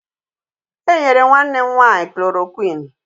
E nyere nwanne m nwaanyị klorokwinụ.